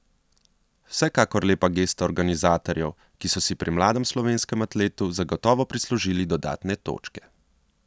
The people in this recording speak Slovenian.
Vsekakor lepa gesta organizatorjev, ki so si pri mladem slovenskem atletu zagotovo prislužili dodatne točke.